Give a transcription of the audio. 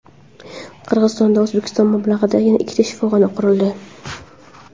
Qirg‘izistonda O‘zbekiston mablag‘idan yana ikkita shifoxona qurildi.